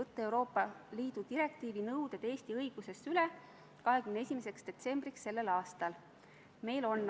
Hääletustulemused Poolt hääletas 53 Riigikogu liiget, vastu 4, erapooletuid ei olnud.